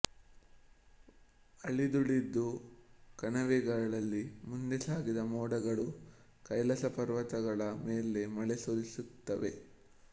ಅಳಿದುಳಿದು ಕಣಿವೆಗಳಲ್ಲಿ ಮುಂದೆ ಸಾಗಿದ ಮೋಡಗಳು ಕೈಲಾಸ ಪರ್ವತಗಳ ಮೇಲೆ ಮಳೆ ಸುರಿಸುತ್ತವೆ